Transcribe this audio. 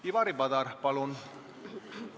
Ivari Padar, palun!